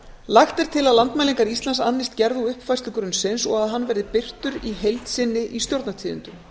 lagt er til að landmælingar íslands annist gerð og uppfærslu grunnsins og að hann verði birtur í heild sinni í stjórnartíðindum